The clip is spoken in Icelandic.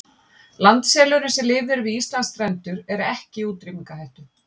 Landselurinn sem lifir við Íslandsstrendur er ekki í útrýmingarhættu.